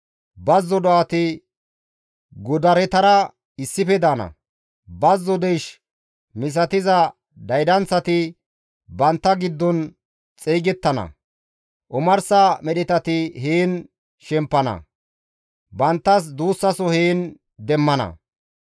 Bazzo do7ati godaretara issife daana; bazzo deysh misatiza daydanththati bantta giddon xeygettana; omarsa medhetati heen shemppana; banttas duussaso heen demmana.